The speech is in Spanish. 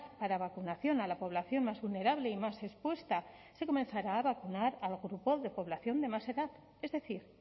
para vacunación a la población más vulnerable y más expuesta se comenzará a vacunar al grupo de población de más edad es decir